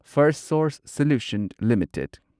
Firstsource Solutions limited